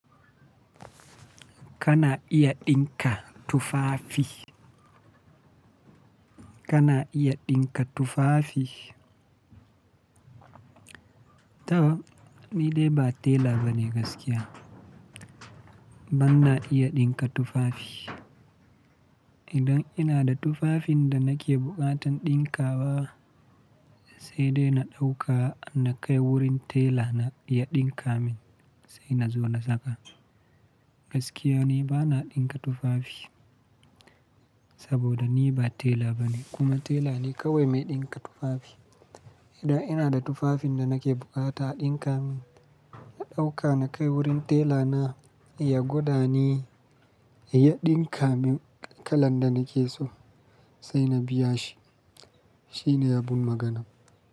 Kana iya ɗinka tufafi? Kana iya ɗinka tufafi? To, ni dai ba tela bane gaskiya. Bana iya ɗinka tufafi. Idan ina da tufafin da nake buƙatan ɗinka wa, sai dai na ɗauka na kai wurin tela na ya ɗinka min sai na zo na saka. Gaskiya ni bana ɗinka tufafi saboda ni ba tela bane kuma tela ne kawai mai ɗinka tufafi. Idan ina da tufafin da nake buƙata a ɗinka min, na ɗauka na kai wurin tela na, ya gwada ni, ya ɗinka min kalan da nake so sai na biya shi. Shine abun magana.